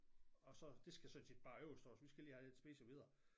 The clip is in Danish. Og så det skal sådan set bare overstås vi skal lige have lidt at spise og videre